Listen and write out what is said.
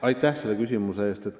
Aitäh küsimuse eest!